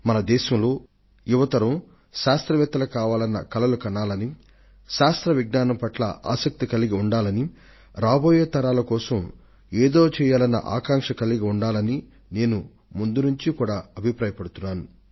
నవతరం శాస్త్రవేత్తలు అవ్వాలనే కలలు కనాలని శాస్త్ర విజ్ఞానం పట్ల వారు చక్కటి ఆసక్తి ని కలిగి ఉండాలని రాబోయే తరాల వారి కోసం ఏదైనా చేయాలి అన్న ఉత్సుకతతో ముందంజ వేయాలని నేను మొదటి నుండి కూడా నమ్ముతూ వచ్చాను